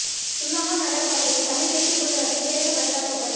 சுன்னாகம் நகரப் பகுதியில் தமிழ் தேசிய கூட்டமைப்பின் தேர்தல் பிரச்சாரக் கூட்டம்